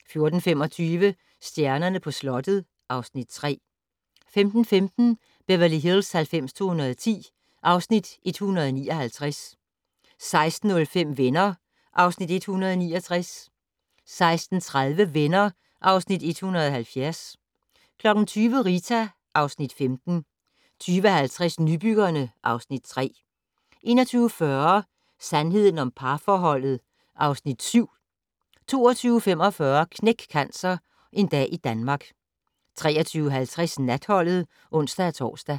14:25: Stjernerne på slottet (Afs. 3) 15:15: Beverly Hills 90210 (Afs. 159) 16:05: Venner (Afs. 169) 16:30: Venner (Afs. 170) 20:00: Rita (Afs. 15) 20:50: Nybyggerne (Afs. 3) 21:40: Sandheden om parforholdet (Afs. 7) 22:45: Knæk Cancer: En dag i Danmark 23:50: Natholdet (ons-tor)